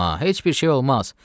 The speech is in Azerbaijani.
heç bir şey olmaz.